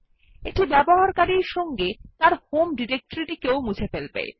এটি ব্যবহারকারীর সঙ্গে তার হোম ডিরেক্টরি মুছে ফেলে